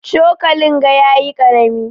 Cokalin ga yayi karami.